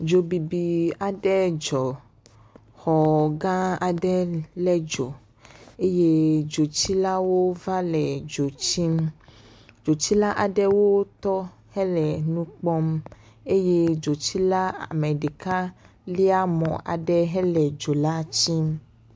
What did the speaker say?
Dzobibi aɖe dzɔ. Xɔ gãa aɖe lé dzo eye dzotsilawo va le dzo tsim. Dzotsila aɖewo tɔ hele nu kpɔm. Eye dzotsila ame ɖeka lia mɔ aɖe hele dzo la tsim.